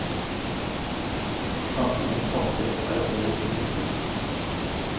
Slankingens hastighet er et mål i seg selv.